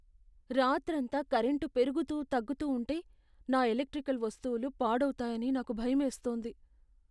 రాత్రంతా కరెంటు పెరుగుతూ తగ్గుతూ ఉంటే నా ఎలక్ట్రికల్ వస్తువులు పాడవుతాయని నాకు భయమేస్తోంది.